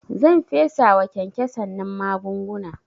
Zan fesawa kyankyasan nan magunguna